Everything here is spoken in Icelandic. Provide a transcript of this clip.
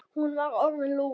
Hún var orðin lúin.